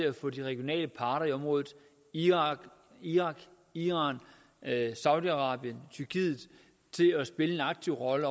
at få de regionale parter i området irak iran iran saudi arabien og tyrkiet til at spille en aktiv rolle